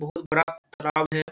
बहुत बड़ा तालाब है।